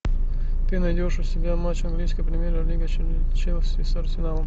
ты найдешь у себя матч английской премьер лиги челси с арсеналом